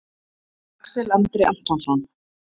Axel Andri Antonsson